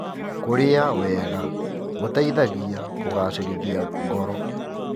Kũrĩa wega gũteithagia kũgacĩrithia ngoro.